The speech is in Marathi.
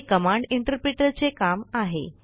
हे कमांड इंटरप्रिटर चे काम आहे